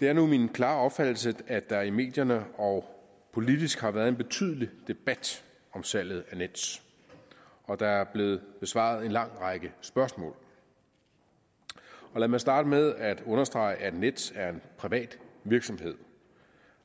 det er nu min klare opfattelse at der i medierne og politisk har været en betydelig debat om salget af nets og der er blevet besvaret en lang række spørgsmål og lad mig starte med at understrege at nets er en privat virksomhed